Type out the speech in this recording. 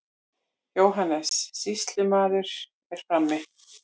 JÓHANNES: Sýslumaður er frammi.